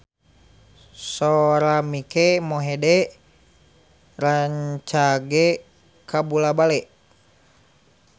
Sora Mike Mohede rancage kabula-bale